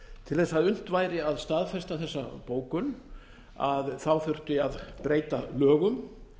til þess að unnt væri að staðfesta þessa bókun þurfti að breyta lögum